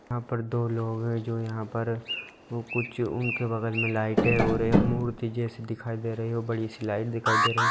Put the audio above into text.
यहाँ पर दो लोग है जो यहाँ पर कुछ उनके बगल मे लाइटें है और एक मूर्ति जैसी दिखाई दे रही है और बड़ी-सी लाइट दिखाई दे रही है।